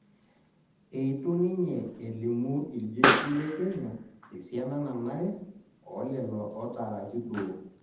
Eitu ninye elimu iljeshi le kenya esiana nanare olelo otaaraki duo